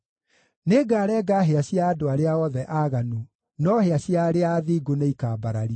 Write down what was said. Nĩngarenga hĩa cia andũ arĩa othe aaganu, no hĩa cia arĩa athingu nĩikambarario.